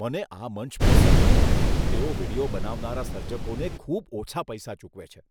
મને આ મંચ પસંદ નથી. તેઓ વીડિયો બનાવનારા સર્જકોને ખૂબ ઓછા પૈસા ચૂકવે છે.